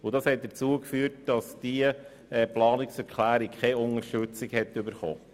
Deshalb erhielt diese Planungserklärung von der FiKo keine Unterstützung.